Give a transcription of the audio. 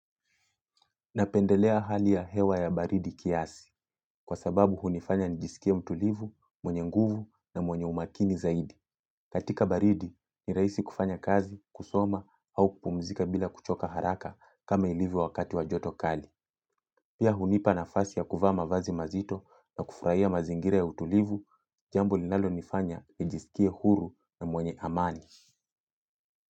Napendelea hali ya hewa ya baridi kiasi, kwa sababu hunifanya nijisikie mtulivu, mwenye nguvu na mwenye umakini zaidi. Katika baridi, ni rahisi kufanya kazi, kusoma au kupumzika bila kuchoka haraka kama ilivyo wakati wa joto kali. Pia hunipa nafasi ya kuvaa mavazi mazito na kufurahia mazingira ya utulivu, jambo linalonifanya nijisikie huru na mwenye amani.